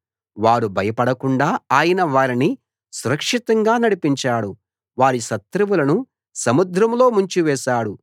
వారు భయపడకుండా ఆయన వారిని సురక్షితంగా నడిపించాడు వారి శత్రువులను సముద్రంలో ముంచివేశాడు